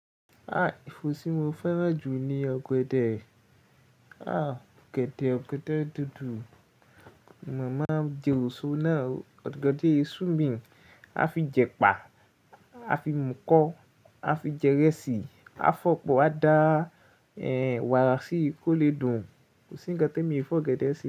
Ah! Èfó tí mo fẹ́ràn jù ni ọ̀gẹ̀dẹ̀. Ah! Ọ̀gẹ̀dẹ̀, ọ̀gẹ̀dẹ̀ dodo. Màmá Jèròso náà, ọ̀gẹ̀dẹ̀ swimming a fi jẹ pà, a fi mú kọ́, a fi jẹ ìrẹsì, a fọ̀ pọ̀, a dá wàrà sí i kó lè dùn. Kò sí ń kan tí èmi ò fọ ọ̀gẹ̀dẹ̀ sí.